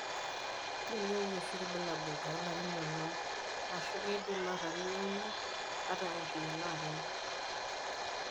Kelioyu oshi bulabul tolerin onom, ashu keidim atalioyu ata engor lelo arin.